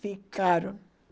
Ficaram.